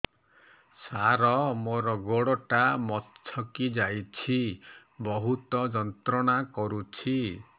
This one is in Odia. ସାର ମୋର ଗୋଡ ଟା ମଛକି ଯାଇଛି ବହୁତ ଯନ୍ତ୍ରଣା କରୁଛି